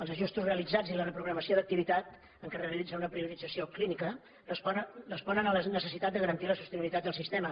els ajustos re·alitzats i la reprogramació d’activitat en què es realit·za una priorització clínica responen a la necessitat de garantir la sostenibilitat del sistema